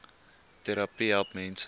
trvterapie help mense